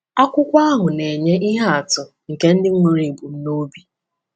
Akwụkwọ ahụ na-enye ihe atụ nke ndị nwere ebumnobi.